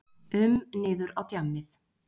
um niður á djammið.